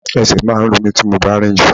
Ẹsẹ̀ máa ń ro mí tí mo bá rinju.